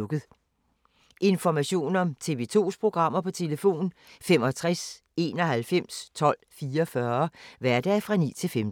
Information om TV 2's programmer: 65 91 12 44, hverdage 9-15.